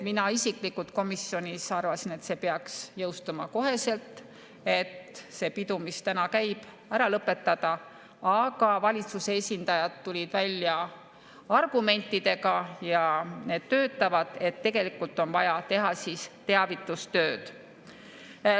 Mina isiklikult komisjonis arvasin, et see peaks jõustuma kohe, et see pidu, mis täna käib, ära lõpetada, aga valitsuse esindajad tulid välja argumentidega, ja need töötavad, et tegelikult on vaja teha teavitustööd.